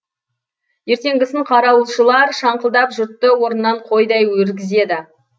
ертеңгісін қарауылшылар шаңқылдап жұртты орнынан қойдай өргізеді